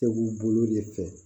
bolo de fɛ